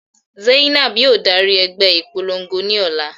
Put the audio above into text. Zainab yóò dari ẹgbẹ ipolongo ni ọla